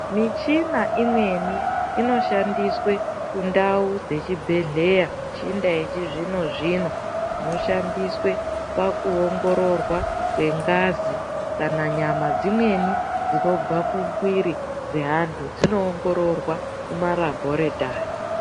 Michina imweni inoshandiswa kundau dzezvibhedeya michina yechizvino zvino inoshandiswa pakuongororwa kwengazi kana nyama dzimweni dzinobva kumwiri dzeanthu dzinoingorirwa kumarabhoritari.